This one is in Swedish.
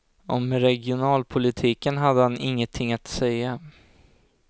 Om regionalpolitiken hade han ingenting att säga.